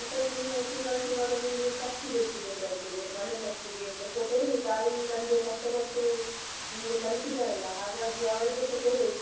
ಆನಂತ್ರ ನೀನು ತಿಂಗಳ್ ತಿಂಗಳು ನಿನ್ಗೆ ಖರ್ಚಿಗೆ ಎಷ್ಟು ಬೇಕಾಗ್ತಾದೆ ಮನೆ ಖರ್ಚಿಗೆ ಸ್ವಲ್ಪ ಕೊಡು ತಾಯಿ ತಂದೆ ಕಷ್ಟಪಟ್ಟು ನಿಂಗೆ ಕಲ್ಸಿದ್ದಾರಲ್ಲಾ ಹಾಗಾಗಿ ಅವ್ರಿಗೆಸ ಕೊಡು.